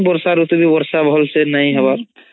ବର୍ଷା ରୁତୁ ବି ବର୍ଷା ଭଲସେ ନାଇ ହବାର୍